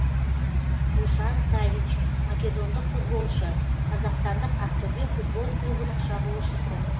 душан савич македондық футболшы қазақстандық ақтөбе футбол клубының шабуылшысы